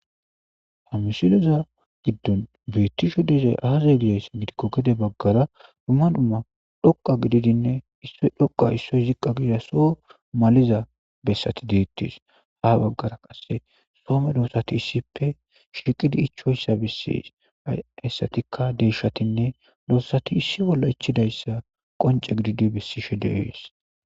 ha mishiloza giddon bettisho deerey aaza gides gidikko gide baggara dumma dhumma dhoqa gididinne issoy dhoqa issoy ziqqa giida so maliza bessati deittis ha baggara qasse soome doossati issippe shiiqidi ichoyssa bessi ayssatikka deeshatinne doossati issi bolla ichidayssa qonce gididi bessishe de7ees